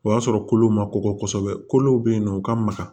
O y'a sɔrɔ kolo ma kɔgɔ kosɛbɛ kolow bɛ yen nɔ u ka maga